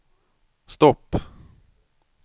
stopp